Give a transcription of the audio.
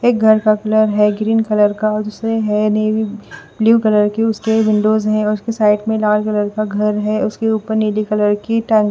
एक घर का कलर है ग्रीन कलर का दूसरे है नेवी ब्लू कलर के उसके विंडोज हैं उसके साइड में लाल कलर का घर है उसके ऊपर नीली कलर की टंग --